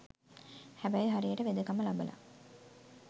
හැබැයි හරියට වෙදකම ලබලා